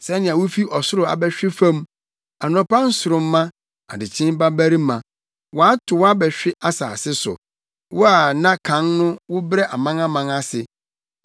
Sɛnea wufi ɔsoro abɛhwe fam, anɔpa nsoromma, adekyee babarima! Wɔato wo abɛhwe asase so, wo a na kan no wobrɛ amanaman ase!